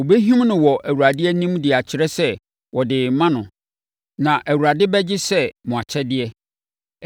Ɔbɛhim no wɔ Awurade anim de akyerɛ sɛ ɔde rema no na Awurade bɛgye sɛ mo akyɛdeɛ.